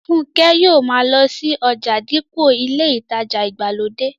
Fúnkẹ́ yóò ma lọ sí ọjà dípò ilé ìtajà ìgbàlódé